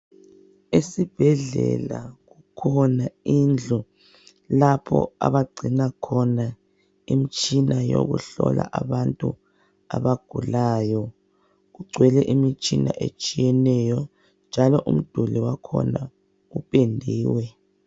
Esibhedlela kukhona indlu lapho abagcina khona imitshina yokuhlola abantu abagulayo. Kugcwele imitshina etshiyeneyo njalo umduli wakhona upendiwe.